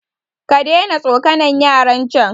kadaina tsokanan yaran can